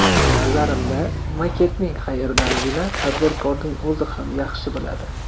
Nazarimda, maketning qayerdaligini tadbirkorning o‘zi ham yaxshi biladi.